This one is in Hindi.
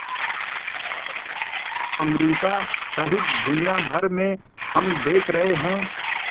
अमरिका सहित दुनिया भर में हम देख रहे हैं